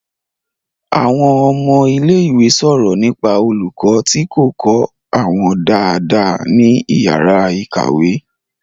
Àwọn ọmọ ilé ìwé sọ̀rọ̀ nípa olùkọ́ tí kò kọ́ àwọn dáadáa ní ìyàrá-ìkàwé.